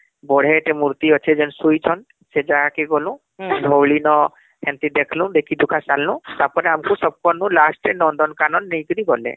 ବଢିଆ ଟେ ମୂର୍ତି ଅଛେ ଯେନ ସୁଇଚନ ସେ ଜାଗାକେ ଗ୍ନୁ ଧଉଳି ନ ସେମିତି ଦେଖଃଲୁ , ଦେଖି ଦୁଖା ସାରଲୁ ତାପରେ ଆମକୁ ସ last ରେ ନନ୍ଦନକାନନ ନେଇକରି ଗଲେ